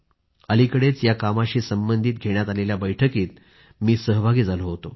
अलिकडेच या कामाशीसंबंधित घेण्यात आलेल्या बैठकीत मी सहभागी झालो होतो